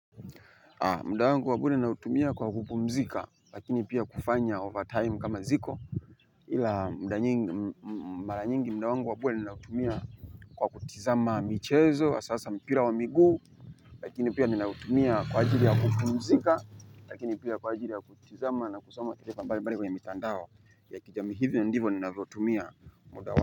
Muda wangu wa kweli ninautumia kwa kupumzika, lakini pia kufanya overtime kama ziko ila mara nyingi muda wangu wa kweli natumia kwa kutizama michezo hasa mpira wa miguu. Lakini pia ninautumia kwa ajili ya kupumzika, lakini pia kwa ajili ya kutizama na kusoma pale kwenye mitandao ya kijamii hivyo ndivo ninavyoutumia muda wangu.